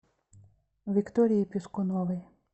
виктории пискуновой